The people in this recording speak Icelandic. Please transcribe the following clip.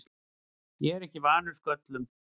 Ég er ekki vanur sköllum.